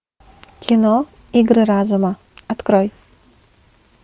кино игры разума открой